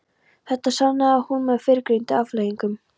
Þetta sannaði hún með fyrrgreindum afleiðingum.